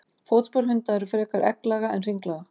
Fótspor hunda eru frekar egglaga en hringlaga.